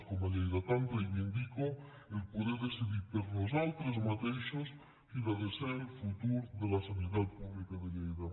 com a lleidatana reivindico poder decidir per nosaltres mateixos quin ha de ser el futur de la sanitat pública de lleida